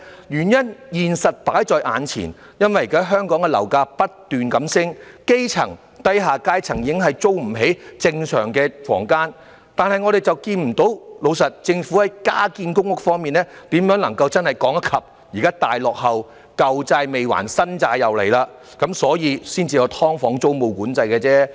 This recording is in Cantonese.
原因是事實擺在眼前，因為現時香港的樓價不斷上升，基層、低下階層已租不起正常的房間，但我們卻看不到......老實說，政府在加建公屋方面如何能夠真正趕得上現時大落後......"舊債"未還，"新債"又來了，因此才有"劏房"租務管制而已。